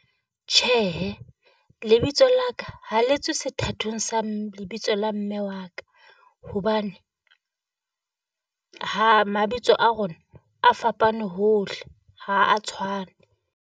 Tjhehe, lebitso La ka ha le sethatong sa lebitso la mme wa ka, hobane ha mabitso a rona a fapane hohle, ha a tshwane.